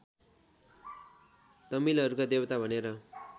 तमिलहरूका देवता भनेर